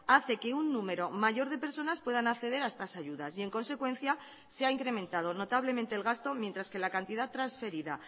hace que un número mayor de personas puedan acceder a estas ayudas y en consecuencia se ha incrementado notablemente el gasto mientras que la cantidad transferida